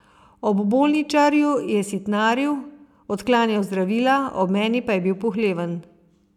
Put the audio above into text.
Ob bolničarju je sitnaril, odklanjal zdravila, ob meni pa je bil pohleven.